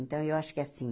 Então, eu acho que assim...